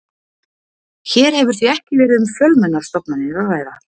Hér hefur því ekki verið um fjölmennar stofnanir að ræða.